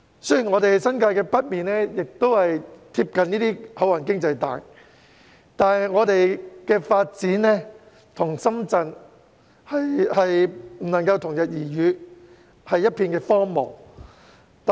雖然我們的新界北面貼近這些"口岸經濟帶"，但發展卻不能與深圳同日而語，只是一片荒蕪。